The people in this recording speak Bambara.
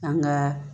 An ka